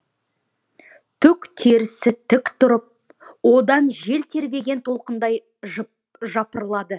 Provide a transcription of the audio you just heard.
түк терісі тік тұрып одан жел тербеген толқындай жапырылады